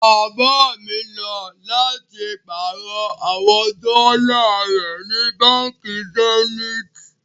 Baba mi lọ láti pàárọ̀ àwọn dọ́là rẹ ni Bánkì Zeniti